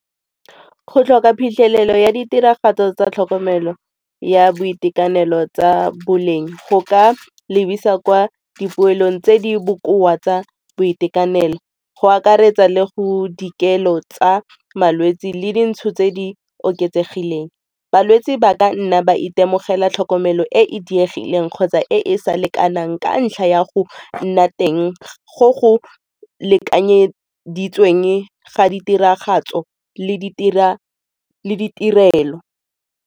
Go tlhoka phitlhelelo ya ditiragatso tsa tlhokomelo ya boitekanelo tsa boleng go ka lebisa kwa dipoelong tse di bokoa tsa boitekanelo, go akaretsa le go dikelo tsa malwetse le dintsho tse di oketsegileng. Balwetse ba ka nna ba itemogela tlhokomelo e e diegileng kgotsa e e sa lekanang ka ntlha ya go nna teng go go lekanyeditsweng ga ditiragatso le ditirelo.